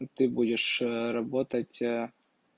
ты будешь работать